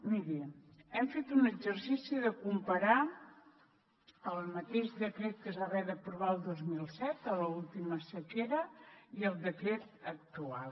miri hem fet un exercici de comparar el mateix decret que es va haver d’aprovar el dos mil set a l’última sequera i el decret actual